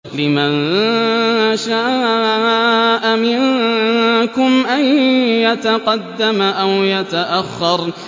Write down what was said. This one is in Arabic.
لِمَن شَاءَ مِنكُمْ أَن يَتَقَدَّمَ أَوْ يَتَأَخَّرَ